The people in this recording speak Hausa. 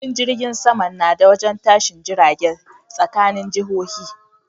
Filin jirgin saman nada wajen tashin jiragen tsakanin jihohi